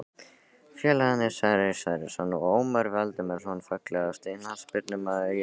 Félagarnir Sverrir Sverrisson og Ómar Valdimarsson Fallegasti knattspyrnumaðurinn í deildinni?